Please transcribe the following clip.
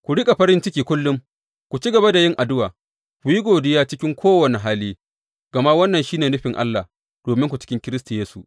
Ku riƙa farin ciki kullum; ku ci gaba da yin addu’a; ku yi godiya cikin kowane hali, gama wannan shi ne nufin Allah dominku cikin Kiristi Yesu.